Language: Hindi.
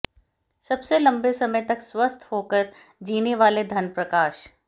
सबसे लंबे समय तक स्वस्थ होकर जीने वाले धनप्रकाश